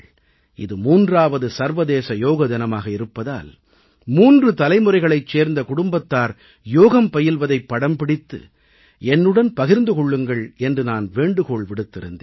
இது 3வது சர்வதேச யோக தினமாக இருப்பதால் 3 தலைமுறைகளைச் சேர்ந்த குடும்பத்தார் யோகம் பயில்வதைப் படம் பிடித்து என்னுடன் பகிர்ந்து கொள்ளுங்கள் என்று நான் வேண்டுகோள் விடுத்திருந்தேன்